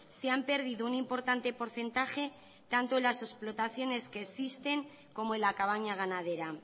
se han perdido un importante porcentaje tanto en las explotaciones que existen como en la cabaña ganadera